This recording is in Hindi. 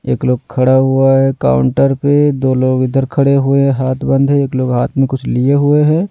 एक लोग खड़ा हुआ है काउंटर पे दो लोग इधर खड़े हुए हैं हाथ बंद है। एक लोग हाथ में कुछ लिए हुए हैं।